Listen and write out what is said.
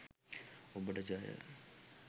ඔබට ජය